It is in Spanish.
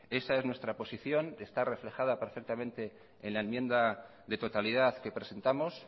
esa es nuestra posición está reflejada perfectamente en la enmienda de totalidad que presentamos